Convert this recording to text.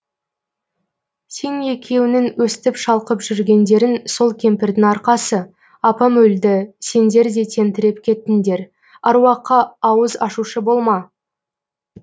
сен екеуіңнің өстіп шалқып жүргендерің сол кемпірдің арқасы апам өлді сендер де тентіреп кеттіңдер аруаққа ауыз ашушы болма